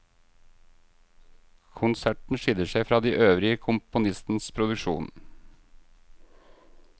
Konserten skiller seg fra de øvrige i komponistens produksjon.